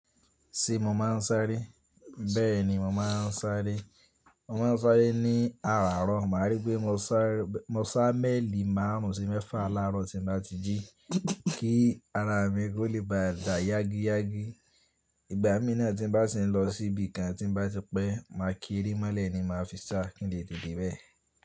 Ti mo máa ń sáré? Bẹ́ẹ̀ni, mo máa ń sáré. Mo máa ń sáré ní àràárọ̀. Màá rí pé mo sá mélì márùn ún sí mẹ́fà láàárọ̀ tí ń bá ti jí. Kí ara mi kò lè bàdà yágíyágí. Ìgbà mí náà tí bá ti ń lọ síbi kan tí bá ti pẹ́, màá ki ere mọ́lẹ̀ ni màá fi sá kí n lè tete de bẹ́ẹ̀.